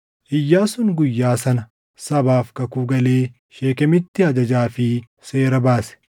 Iyyaasuun guyyaa sana sabaaf kakuu galee Sheekemitti ajajaa fi seera baase.